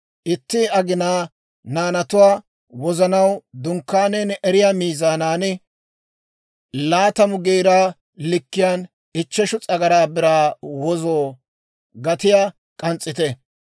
Itti agenaa naanatuwaa wozanaw Dunkkaaniyaan erettiyaa miizaaniyaa (20 Geera) likkiyaan ichcheshu s'agaraa biraa wozo gatiyaa k'ans's'ite.